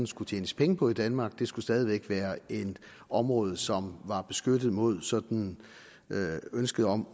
skulle tjenes penge på i danmark det skulle stadig væk være et område som var beskyttet mod sådan ønsket om